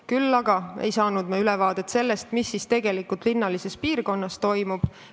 Küll aga ei saanud me ülevaadet sellest, mis tegelikult linnalises piirkonnas toimub.